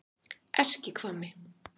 Eskihvammi